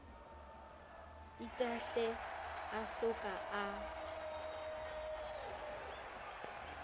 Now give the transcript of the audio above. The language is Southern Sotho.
itahle a so ka a